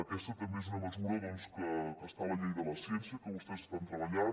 aquesta també és una mesura doncs que està a la llei de la ciència que vostès estan treballant